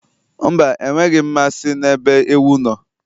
Mba, enweghị m mmasị n'ebe ewu no